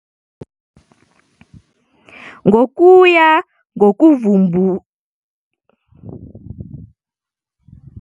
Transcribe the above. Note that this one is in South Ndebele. Ngokuya ngokuvubukulwa kwezinto ezihlobene namathambo, abakhulumi be-Cushitic bathoma ukuhlala eendaweni eziphasi ze-Kenya hlangana kwe-3,200 ukuya ku-1,300 BC, isigaba esaziwa nge-Lowland Savanna Pastoral Neolithic.